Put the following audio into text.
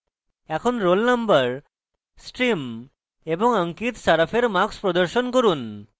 এখন roll নম্বর stream এবং ankit saraf এর marks প্রদর্শন করুন